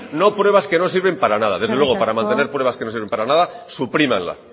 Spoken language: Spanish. no pruebas que no sirven para nada eskerrik asko desde luego para mantener pruebas que no sirven para nada suprímanla